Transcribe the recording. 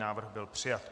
Návrh byl přijat.